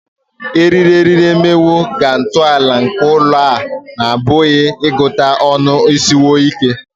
eriri eriri emewo ka ntọala nke ụlọ a na-apụghị ịgụta ọnụ sikwuo ike